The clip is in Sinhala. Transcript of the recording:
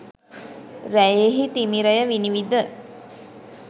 රැයෙහි තිමිරය විනිවිද